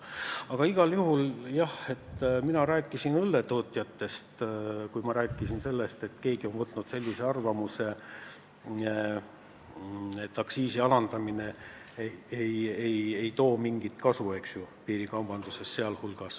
Aga igal juhul mina rääkisin õlletootjatest, kui ütlesin, et on arvatud, et aktsiisi alandamine ei too mingit kasu, sh piirikaubanduses.